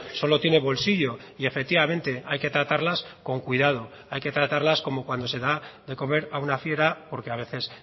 solo tiene bolsillo y efectivamente hay que tratarlas con cuidado hay que tratarlas como cuando se da de comer a una fiera porque a veces